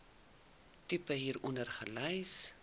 tipe hieronder gelys